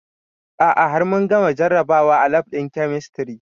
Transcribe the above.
A'a har mun gama jarabawa a lab ɗin kemistri